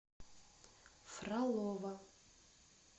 фролово